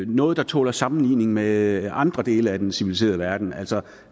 noget der tåler sammenligning med andre dele af den civiliserede verden altså